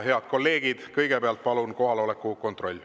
Head kolleegid, kõigepealt teeme palun kohaloleku kontrolli.